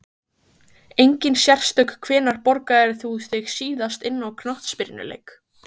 Engin sérstök Hvenær borgaðir þú þig síðast inn á knattspyrnuleik?